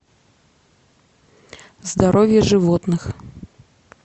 здоровье животных